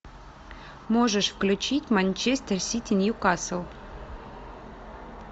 можешь включить манчестер сити ньюкасл